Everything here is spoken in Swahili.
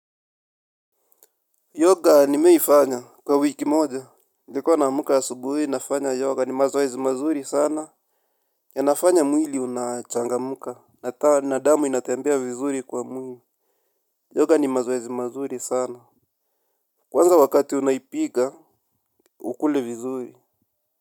Yoga nimeifanya kwa wiki moja. Nilikuwa naamka asubuhi nafanya yoga ni mazoezi mazuri sana. Yanafanya mwili unachangamka. Nataa na damu inatembea vizuri kwa mwili Yoga ni mazoezi mazuri sana. Kwanza wakati unaipiga ukule vizuri.